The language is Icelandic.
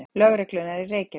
Lögreglunnar í Reykjavík.